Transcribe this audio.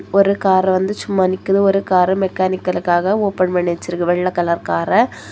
ஒரு கார் வந்து சும்மா நிக்குது ஒரு காரெ மெக்கானிக்கல்காக ஓபன் பண்ணி வச்சிருக்கு வெள்ளை கலர் காரெ .